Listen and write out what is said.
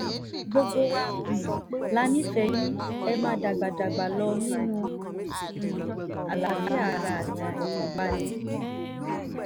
gbogbo wa um la nífẹ̀ẹ́ yìn ẹ́ máa dàgbà dàgbà lọ nínú um àlàáfíà ara àti ìfọ̀kànbalẹ̀